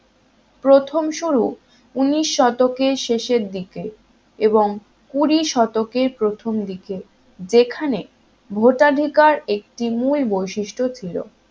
প্রথম শুরু উনিশ শতকের শেষের দিকে এবং কুড়ি শতকের প্রথমদিকে যেখানে ভোটাধিকার একটি মূল বৈশিষ্ট্য ছিল